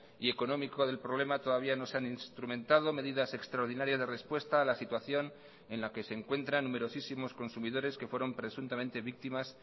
y económico del problema todavía no se han instrumentado medidas extraordinarias de respuesta a la situación en la que se encuentran numerosísimos consumidores que fueron presuntamente víctimas